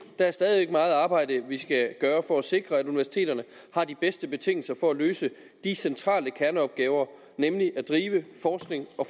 der er stadig væk meget arbejde vi skal gøre for at sikre at universiteterne har de bedste betingelser for at løse de centrale kerneopgaver nemlig at drive forskning